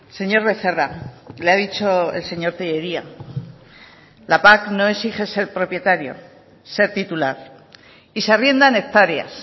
señor becerra le ha dicho el señor tellería la pac no exige ser propietario ser titular y se arriendan hectáreas